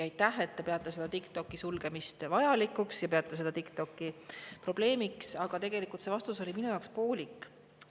Aitäh, et te peate TikToki sulgemist vajalikuks ja peate TikTokki probleemiks, aga tegelikult see vastus oli minu jaoks poolik.